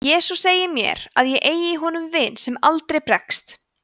jesús segir mér að ég eigi í honum vin sem aldrei bregst